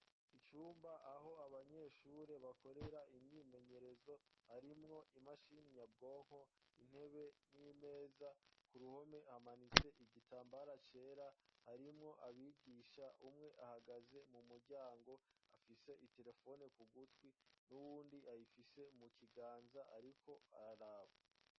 Icumba aho abanyeshuri bakorera imyimenyerezo, harimwo imashini nyabwonko ,intebe, n'imeza, ku ruhome hamanitse igitambara cera ,harimwo abigisha: umwe ahagaze mu muryango afise iterefone ku gutwi ,n'uwundi ayifise mu kiganza ariko araraba.